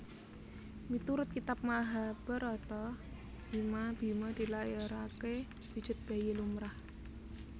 Miturut Kitab Mahabharata Bima Bhima dilairaké wujud bayi lumrah